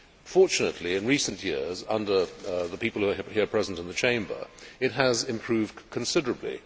Fortunately, in recent years, under the people who were here present in the Chamber, it has improved considerably.